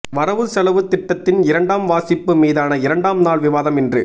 வரவு செலவுத் திட்டத்தின் இரண்டாம் வாசிப்பு மீதான இரண்டாம் நாள் விவாதம் இன்று